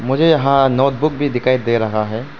मुझे यहां नोटबुक भी दिखाई दे रहा है।